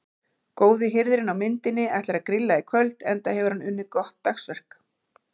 Góði hirðirinn á myndinni ætlar að grilla í kvöld enda hefur hann unnið gott dagsverk.